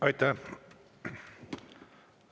Aitäh!